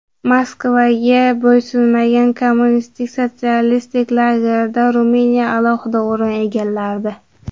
Moskvaga bo‘ysunmagan kommunist Sotsialistik lagerda Ruminiya alohida o‘rin egallardi.